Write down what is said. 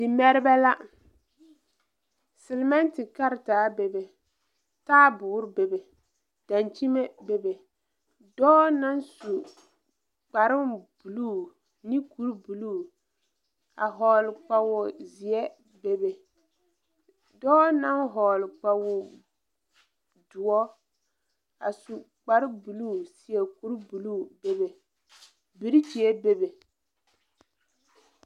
Dimɛrebɛ la silmɛnte karetaa bebe taabuure bebe dankyime bebe dɔɔ naŋ su kparebluu ne kuribluu a hɔɔle kpawozeɛ bebe dɔɔ naŋ hɔɔle kpawodoɔ a su kparebluu seɛ kuribluu bebe birikyie bebe.